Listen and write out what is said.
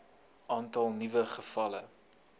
aantal nuwe gevalle